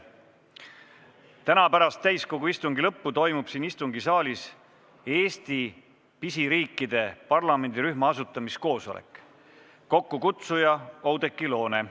Täna pärast täiskogu istungi lõppu toimub siin istungisaalis Eesti-pisiriikide parlamendirühma asutamiskoosolek, mille kokkukutsuja on Oudekki Loone.